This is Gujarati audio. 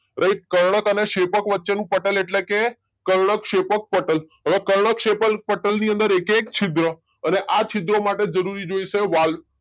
રાઈટ કર્ણક અને શેપક વચ્ચેનું પટલ એટેલે કે કર્ણકશેપક પટલ અને હવે કર્ણકશેપક પટલ ની અંદર એકે એક છિદ્ર અને આ છિદ્રો માટે જરૂરી જોઇશે વાલ